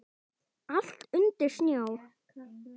Allt undir snjó.